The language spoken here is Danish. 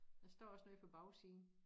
Der står også noget på bagsiden